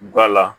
Gala